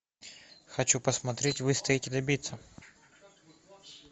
хочу посмотреть выстоять и добиться